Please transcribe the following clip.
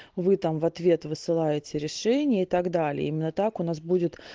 вы там в ответ высылаете решение и так далее именно так у нас будет